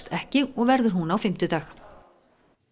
ekki og verður hún á fimmtudag